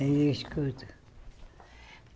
Aí eu escuto.